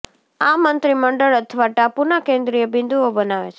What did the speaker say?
આ મંત્રીમંડળ અથવા ટાપુના કેન્દ્રીય બિંદુઓ બનાવે છે